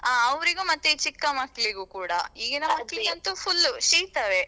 ಆ ಅವ್ರಿಗೂ ಮತ್ತು ಚಿಕ್ಕ ಮಕ್ಳಿಗೂ ಕೂಡ ಈಗಿನ ಮಕ್ಳಿಗಂತೂ full ಶೀತವೇ.